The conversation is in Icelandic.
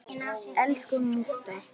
Elsku mútta.